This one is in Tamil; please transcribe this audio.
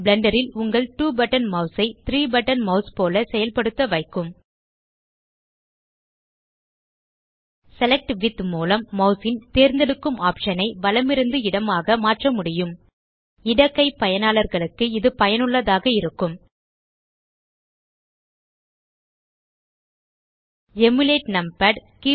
பிளெண்டர் ல் உங்கள் 2 பட்டன் மாஸ் ஐ 3 பட்டன் மாஸ் போல செயல்படுத்த வைக்கும் செலக்ட் வித் மூலம் மாஸ் ன் தேர்ந்தெடுக்கும் ஆப்ஷன் ஐ வலமிருந்து இடமாக மாற்ற முடியும் இடக்கை பயனாளர்களுக்கு இது பயனுள்ளதாக இருக்கும் எமுலேட் நம்பாட்